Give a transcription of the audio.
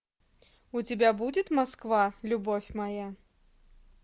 у тебя будет москва любовь моя